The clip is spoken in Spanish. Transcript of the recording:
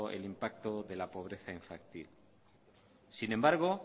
el impacto de la pobreza infantil sin embargo